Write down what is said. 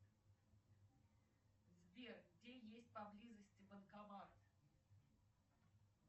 сбер где есть поблизости банкомат